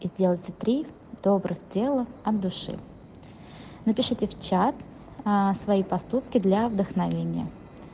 и сделаете три добрых дела от души напишите в чат аа свои поступки для вдохновения